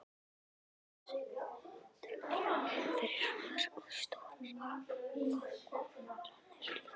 Myndbandsupptökur fyrir mörk og stórar ákvarðanir líka?